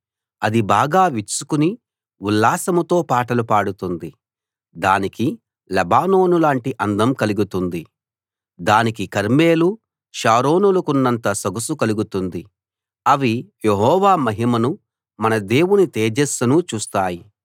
అది బాగా విచ్చుకుని ఉల్లాసంతో పాటలు పాడుతుంది దానికి లెబానోను లాంటి అందం కలుగుతుంది దానికి కర్మెలు షారోనులకున్నంత సొగసు కలుగుతుంది అవి యెహోవా మహిమను మన దేవుని తేజస్సును చూస్తాయి